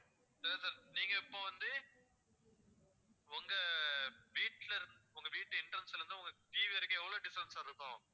சரி sir நீங்க இப்போ வந்து உங்க வீட்டுலரு~ உங்க வீட்டு entrance ல இருந்து உங்க TV வரைக்கும் எவ்ளோ distance sir இருக்கும்